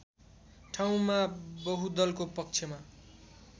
ठाउँमा बहुदलको पक्षमा